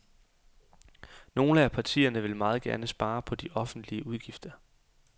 Nogle af partierne vil meget gerne spare på de offentlige udgifter.